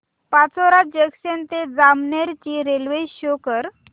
Pachora junction ते जामनेर ची railway show कर